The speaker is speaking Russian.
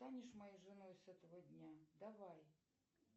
станешь моей женой с этого дня давай